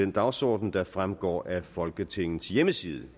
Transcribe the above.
den dagsorden der fremgår af folketingets hjemmeside